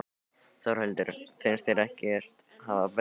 Þórhildur: Finnst þér ekkert hafa breyst í dag?